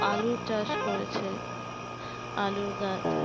আলুর চাষ করেছে আলুর গাছ